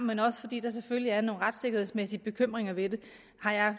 men også fordi der selvfølgelig er nogle retssikkerhedsmæssige bekymringer ved det har jeg